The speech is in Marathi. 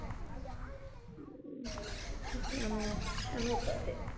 हम्म त्यामुळं छान होतं ते.